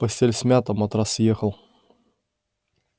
постель смята матрас съехал